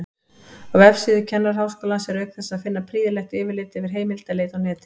Á vefsíðu Kennaraháskólans er auk þess að finna prýðilegt yfirlit yfir heimildaleit á netinu.